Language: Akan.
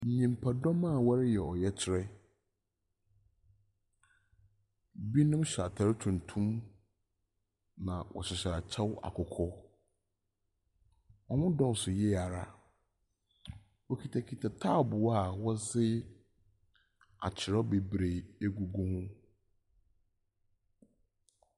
Nyimpadɔm a wɔreyɛ ɔyɛkyerɛ. Binom hyɛ atar tuntum, na wɔsoso akyɛw akɔkɔɔ. Wɔdɔɔso yiye ara. Wokitakota taabow a wɔdze akyerɛw beberee egugu ho.